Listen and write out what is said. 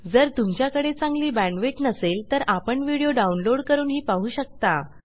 जर तुमच्याकडे चांगली बॅण्डविड्थ नसेल तर आपण व्हिडिओ डाउनलोड करूनही पाहू शकता